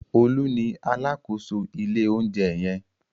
Olú ni alákòóso ilé-oúnjẹ yẹn.